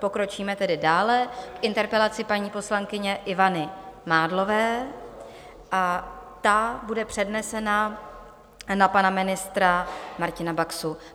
Pokročíme tedy dále k interpelaci paní poslankyně Ivany Mádlové a ta bude přednesena na pana ministra Martina Baxu.